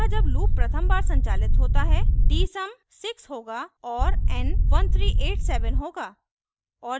अतः जब loop प्रथम बार संचालित होता है dsum 6 होगा और n 1387 होगा